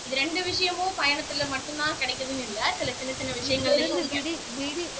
இது ரெண்டு விஷயமும் பயணத்துல மட்டும்தான் கிடைக்குதுன்னு இல்ல சில சின்னச் சின்ன விஷயங்கள்